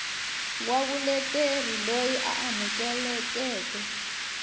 wa vuleteri loyi a amukelekeke